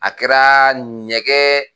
A kɛra ɲɛgɛn